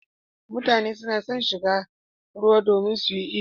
Mutane suna shiga cikin ruwa domin su yi iyo.